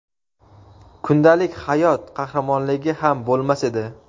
kundalik hayot qahramonligi ham bo‘lmas edi.